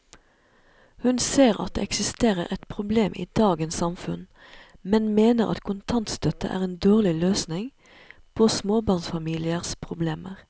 Hun ser at det eksisterer et problem i dagens samfunn, men mener at kontantstøtte er en dårlig løsning på småbarnsfamiliers problemer.